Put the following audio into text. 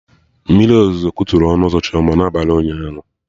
Mmiri ozuzo kutu ọnụ ụzọ nnukwu na abalị ụnyaahụ